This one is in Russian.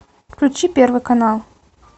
включи первый канал